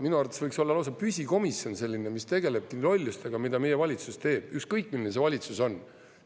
Minu arvates võiks olla lausa püsikomisjon, mis tegelebki lollustega, mida meie valitsus teeb, ükskõik milline see valitsus on.